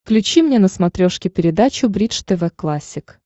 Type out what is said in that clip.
включи мне на смотрешке передачу бридж тв классик